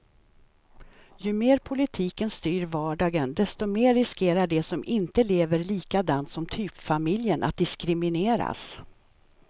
Ju mer politiken styr vardagen, desto mer riskerar de som inte lever likadant som typfamiljen att diskrimineras.